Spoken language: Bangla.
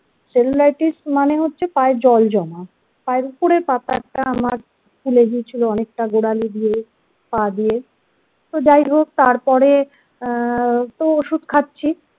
cellulitis মানে হচ্ছে পায়ে জল জমা পায়ের উপরের পাতাটা আমার ফুলে গিয়েছিল অনেকটা গোড়ালি দিয়ে পা দিয়ে তো যাই হোক তারপরে আ তো ওষুধ খাচ্ছি।